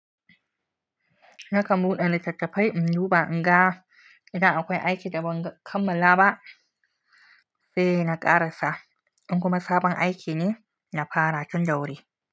Nakan buɗe littattafai in duba, in ga idan akwai aiki da ban kammala ba sai na ƙarasa. In kuma sabon aiki ne, na fara tun da wuri.